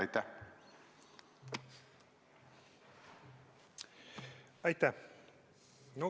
Aitäh!